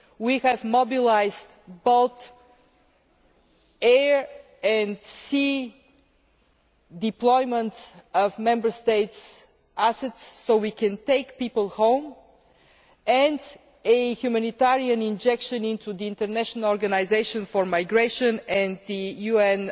We have mobilised both air and sea deployment of Member States assets so we can take people home, and a humanitarian injection into the International organisation for migration and the UN